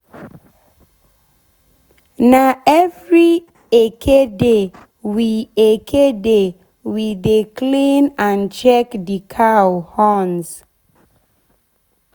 na every eke day we eke day we de clean and check d cow horns.